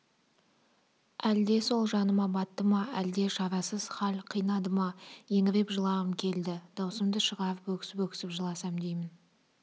әлде сол жаныма батты ма әлде шарасыз хал қинады ма еңіреп жылағым келді даусымды шығарып өксіп-өксіп жыласам деймін